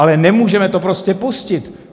Ale nemůžeme to prostě pustit!